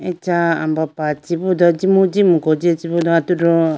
acha ambapa chibu do jimu jimuko jiya chibu do atudu.